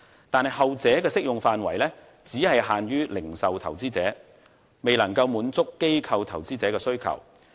但是，後者的適用範圍只限於零售投資者，未能夠滿足機構投資者的需求。